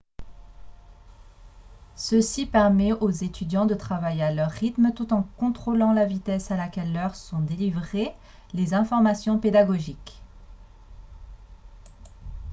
ceci permet aux étudiants de travailler à leur rythme tout en contrôlant la vitesse à laquelle leurs sont délivrées les informations pédagogiques